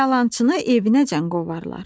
Yalançını evinəcən qovarlar.